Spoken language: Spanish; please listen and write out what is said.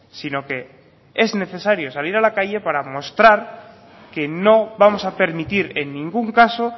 sino que es necesario salir a la calle para mostrar que no vamos a permitir en ningún caso